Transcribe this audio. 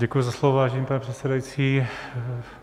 Děkuji za slovo, vážený pane předsedající.